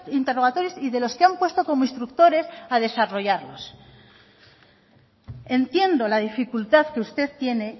interrogatorios y de los que han puesto como instructores a desarrollarlos entiendo la dificultad que usted tiene